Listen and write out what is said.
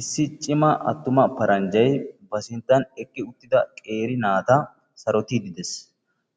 issi cima attuma paranjjay ba sinttan eqqi uttida qeeri naata sarotiiddi des.